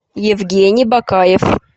евгений бакаев